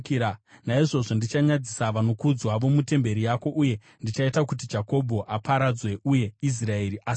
Naizvozvo ndichanyadzisa vanokudzwa vomutemberi yako, uye ndichaita kuti Jakobho aparadzwe uye Israeri asekwe.